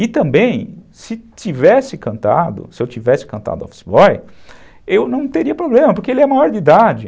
E também, se tivesse cantado, se eu tivesse cantado office boy, eu não teria problema, porque ele é maior de idade.